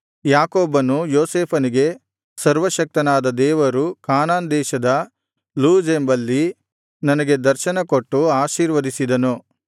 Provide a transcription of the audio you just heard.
ಯಾಕೋಬನು ಯೋಸೇಫನಿಗೆ ಸರ್ವಶಕ್ತನಾದ ದೇವರು ಕಾನಾನ್ ದೇಶದ ಲೂಜ್ ಎಂಬಲ್ಲಿ ನನಗೆ ದರ್ಶನ ಕೊಟ್ಟು ಆಶೀರ್ವದಿಸಿದನು